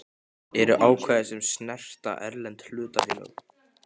eru ákvæði sem snerta erlend hlutafélög.